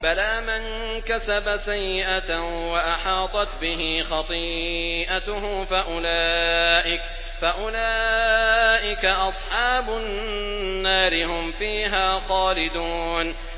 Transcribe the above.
بَلَىٰ مَن كَسَبَ سَيِّئَةً وَأَحَاطَتْ بِهِ خَطِيئَتُهُ فَأُولَٰئِكَ أَصْحَابُ النَّارِ ۖ هُمْ فِيهَا خَالِدُونَ